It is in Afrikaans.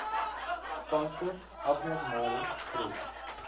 kanker abnormale groei